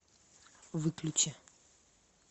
выключи